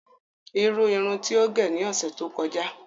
Irùn irùn tí o gé ni ọṣẹ tó kọ̀jà jẹ̀.